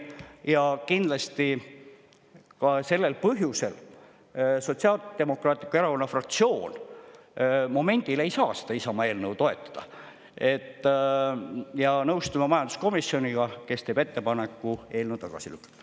Ja kindlasti ka sellel põhjusel Sotsiaaldemokraatliku Erakonna fraktsioon momendil ei saa seda Isamaa eelnõu toetada, ja nõustuma majanduskomisjoniga, kes teeb ettepaneku eelnõu tagasi lükata.